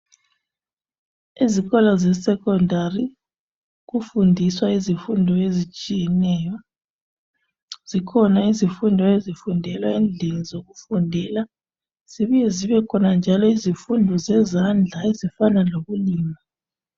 Ezikolo zesecondary kufundiswa izifundo ezitshiyeneyo, zikhona izifundo ezifundelwa endlini zokufundela zibuye zibekhona njalo izifundo zezandla ezifana lokulima.